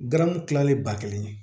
Garamu kilalen ba kelen ye